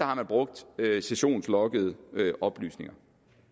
har brugt sessionsloggede oplysninger